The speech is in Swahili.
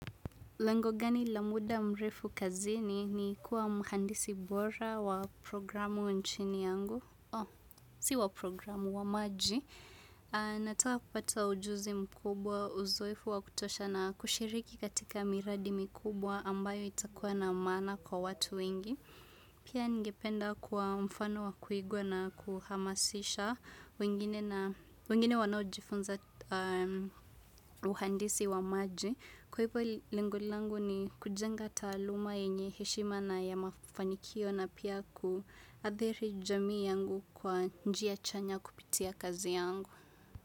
Lengo ngani la muda mrefu kazini ni kuwa mhandisi bora wa programu nchini yangu. O, si wa programu, wa maji. Natawa kupata ujuzi mkubwa, uzoefu wa kutosha na kushiriki katika miradi mikubwa ambayo itakuwa na maana kwa watu wengi. Pia ngependa kwa mfano wa kuigwa na kuhamasisha wengine wanao jifunza uhandisi wa maji. Kwa hivyo lengo langu ni kujenga taaluma yenye heshima na ya mafanikio na pia kuathiri jamii yangu kwa njia chanya kupitia kazi yangu.